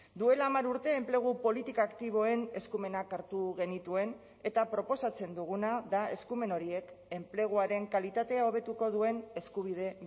duela hamar urte enplegu politika aktiboen eskumenak hartu genituen eta proposatzen duguna da eskumen horiek enpleguaren kalitatea hobetuko duen eskubide